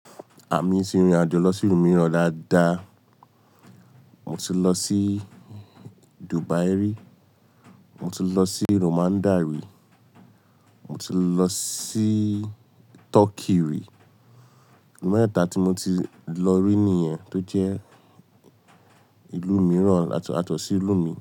Àmi ti rìnrìn àjò lọ sí ìlú mìíràn dáadáa. Mo ti lọ sí Dubai rí, mo ti lọ sí Romania rí, mo ti lọ sí Turkey rí. Ìlú mẹ́ta tí mo ti lọ rí nìyẹn tó jẹ́ ìlú mìíràn àtọ̀sí ìlú mi.